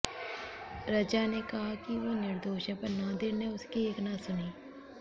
रज़ा ने कहा कि वो निर्दोष है पर नादिर ने उसकी एक न सुनी